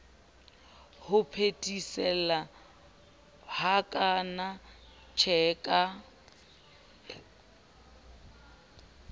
ho phethesela hakana tjhe ka